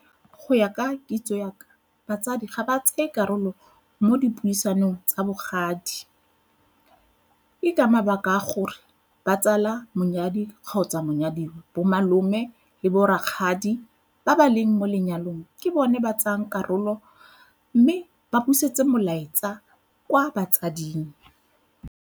Go ya ka kitso ya ka batsadi ga ba tseye karolo mo dipuisanong tsa bogadi. Ke ka mabaka a gore ba tsala monyadi kgotsa monyadiwa, bo malome le bo rakgadi ba ba leng mo lenyalong ke bone ba tsayang karolo mme ba busetse molaetsa kwa batsading.